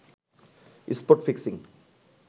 spot fixing